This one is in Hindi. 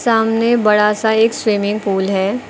सामने बड़ा सा एक स्विमिंग पूल है।